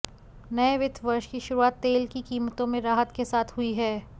नए वित्त वर्ष की शुरुआत तेल की कीमतों में राहत के साथ हुई है